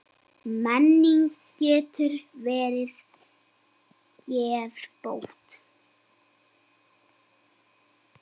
Menning getur verið geðbót.